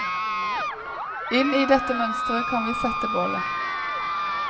Inn i dette mønsteret kan vi sette bålet.